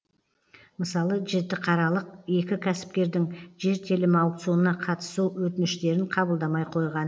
мысалы жітіқаралық екі кәсіпкердің жер телімі аукционына қатысу өтініштерін қабылдамай қойған